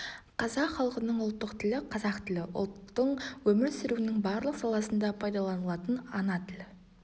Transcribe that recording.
қазақ халқының ұлттық тілі қазақ тілі ұлттың өмір сүруінің барлық саласында пайдаланылатын ана тілі